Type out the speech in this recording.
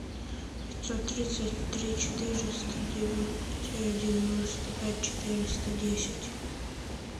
пятьсот тридцать три четыреста девяносто пять четыреста десять